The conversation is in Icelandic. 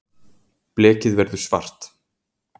blekið verður svart